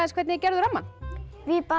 hvernig þið gerðuð rammann við bara